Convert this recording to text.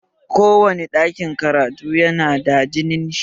Ko wane ɗakin karatu yana da ginin shi